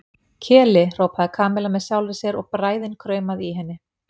Keli, hrópaði Kamilla með sjálfri sér og bræðin kraumaði í henni.